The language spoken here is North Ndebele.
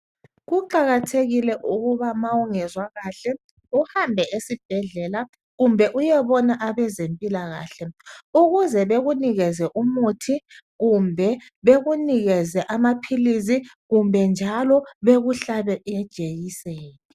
Kuqakathekile uba ma ungezwa kahle uhambe esibhedlela kumbe uyebona abezempilakahle ukuze bekunikeze umuthi kumbe bekunikeze amaphilizi kumbe njalo bekuhlabe ijekiseni.